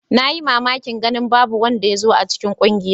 Na yi mamakin ganin babu wanda ya zo a cikin ƙungiyar.